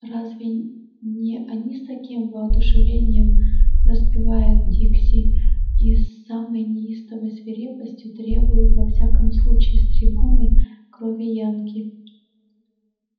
разве не они с таким воодушевлением распевают дикси и с самой неистовой свирепостью требуют во всяком случае с трибуны крови янки